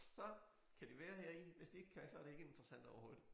Så kan de være heri hvis de ikke kan så det ikke interessant overhovedet